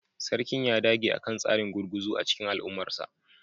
Sarkin ya dage akan tsarin gurguzu a cikin al'ummarsa